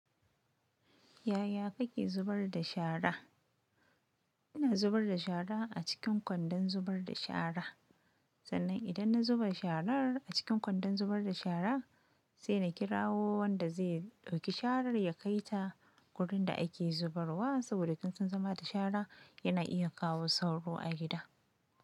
Yaya kake zubar da shara? Ina zubar da shara a cikin kwandon zubar da shara. Sannan idan na zuba sharar a cikin kwandon zubar da shara sai na kira wanda zai ɗauki sharar ya kai ta wurin da ake zubarwa. Saboda kunsan zama da shara yana iya kawo sauro a gida.